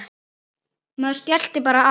Maður skellti bara á.